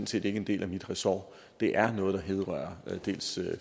set ikke en del af mit resort det er noget der vedrører dels